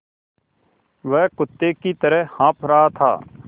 वह कुत्ते की तरह हाँफ़ रहा था